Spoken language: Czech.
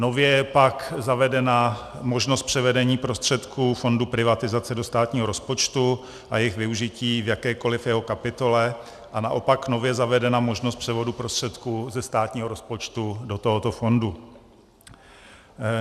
Nově je pak zavedena možnost převedení prostředků fondu privatizace do státního rozpočtu a jejich využití v jakékoliv jeho kapitole a naopak nově zavedena možnost převodu prostředků ze státního rozpočtu do tohoto fondu.